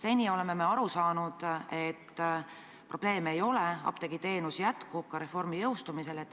Seni oleme me aru saanud, et probleeme ei ole, apteegiteenuse osutamine jätkub ka reformi teostumisel.